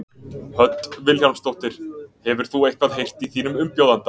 Hödd Vilhjálmsdóttir: Hefur þú eitthvað heyrt í þínum umbjóðanda?